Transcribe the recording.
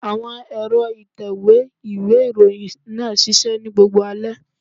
Àwọn ẹ̀rọ ìtẹ̀wé ìwé ìròyìn náà ṣiṣẹ́ ní gbogbo alẹ́.